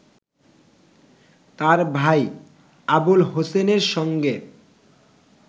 তার ভাই আবুল হোসেনের সঙ্গে